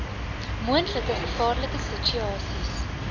moontlike gevaarlike situasies